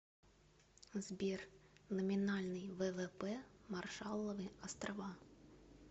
сбер номинальный ввп маршалловы острова